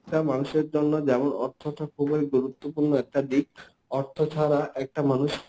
একটা মানুষের জন্য যেমন অর্থটা খুবই গুরুত্বপূর্ণ একটা দিক, অর্থ ছাড়া একটা মানুষ